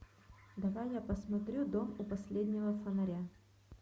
давай я посмотрю дом у последнего фонаря